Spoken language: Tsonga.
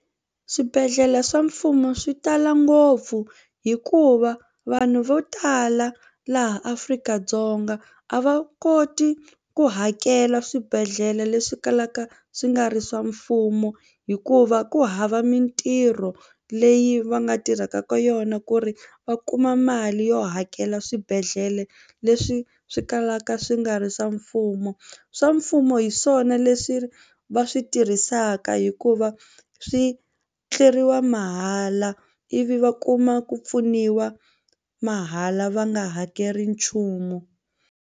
Swibedhlele swa mfumo swi tala ngopfu hikuva vanhu vo tala laha Afrika-Dzonga a va koti ku hakela swibedhlele leswi kalaka swi nga ri swa mfumo hikuva ku hava mitirho leyi va nga tirhaka ka yona ku ri va kuma mali yo hakela swibedhlele leswi swi kalaka swi nga ri swa mfumo. Swa mfumo hi swona leswi va swi tirhisaka hikuva swi tleriwa mahala ivi va kuma ku pfuniwa mahala va nga hakeli nchumu.